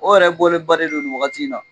O yɛrɛ bɔlen bannen non nin wagati in na